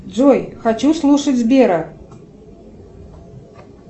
джой хочу слушать сбера